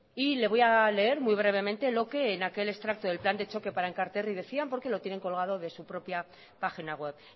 y le voy a leer muy brevemente lo que en aquel extracto del plan de choque para enkarterri decían porque lo tienen colgado de su propia página web